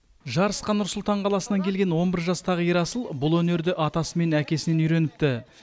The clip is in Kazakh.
жарысқа нұр сұлтан қаласынан келген он бір жастағы ерасыл бұл өнерді атасы мен әкесінен үйреніпті